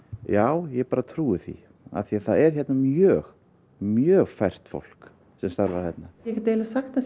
já ég bara trúi því af því að það er hérna mjög mjög fært fólk sem starfar hérna ég get eiginlega sagt að